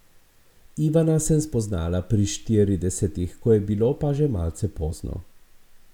Ivana sem spoznala pri štiridesetih, ko je bilo pa že malce pozno.